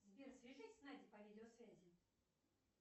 сбер свяжись с надей по видеосвязи